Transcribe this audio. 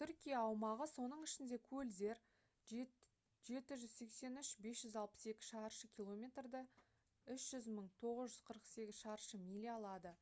түркия аумағы соның ішінде көлдер 783 562 шаршы километрді 300 948 шаршы миля алады